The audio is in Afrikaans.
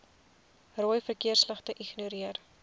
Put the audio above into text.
rooi verkeersligte ignoreer